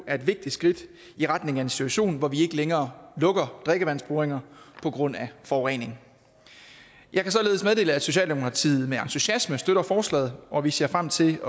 er et vigtigt skridt i retning af en situation hvor vi ikke længere lukker drikkevandsboringer på grund af forurening jeg kan således meddele at socialdemokratiet med entusiasme støtter forslaget og vi ser frem til